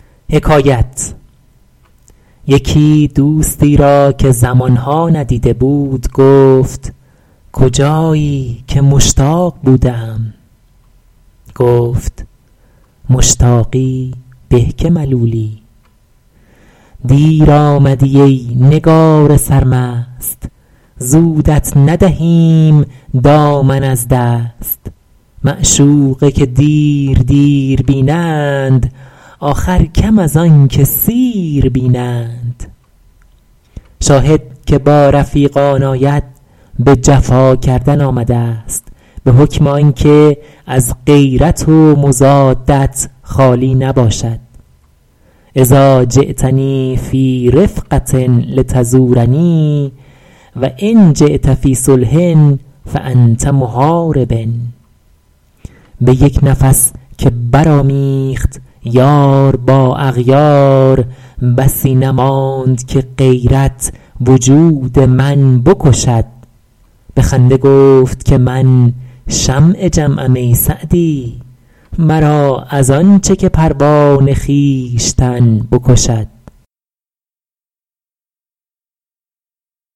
یکی دوستی را که زمان ها ندیده بود گفت کجایی که مشتاق بوده ام گفت مشتاقی به که ملولی دیر آمدی ای نگار سرمست زودت ندهیم دامن از دست معشوقه که دیر دیر بینند آخر کم از آن که سیر بینند شاهد که با رفیقان آید به جفا کردن آمده است به حکم آن که از غیرت و مضادت خالی نباشد اذٰا جیتنی فی رفقة لتزورنی و ان جیت فی صلح فأنت محارب به یک نفس که برآمیخت یار با اغیار بسی نماند که غیرت وجود من بکشد به خنده گفت که من شمع جمعم ای سعدی مرا از آن چه که پروانه خویشتن بکشد